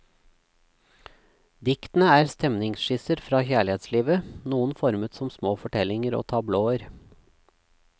Diktene er stemningsskisser fra kjærlighetslivet, noen formet som små fortellinger og tablåer.